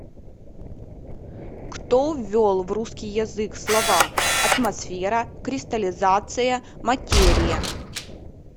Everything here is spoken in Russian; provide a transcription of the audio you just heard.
кто ввел в русский язык слова атмосфера кристаллизация материя